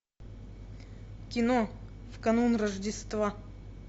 кино в канун рождества